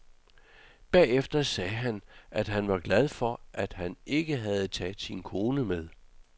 Bagefter sagde han, at han var glad for, at han ikke havde taget sin kone med.